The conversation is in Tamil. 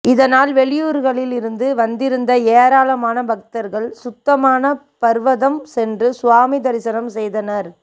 இதனால் வெளியூர்களில் இருந்து வந்திருந்த ஏராளமான பக்தர்கள் கந்தமாதன பர்வதம் சென்று சுவாமி தரிசனம் செய்தனர்